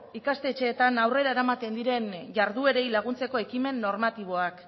ikastetxeetan aurrera eramaten diren jarduerei laguntzeko ekimen normatiboak